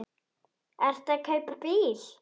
Ertu að kaupa bíl?